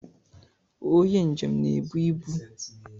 Onye njem na-ebu ibu